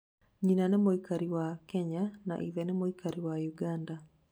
Nyina nĩ mũikari wa Kenya na ithe nĩ mũikari wa Uganda